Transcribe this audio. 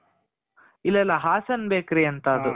ಇಲ್ಲ ಇಲ್ಲ ಹಾಸನ್ bakery ಅಂತ ಅದು.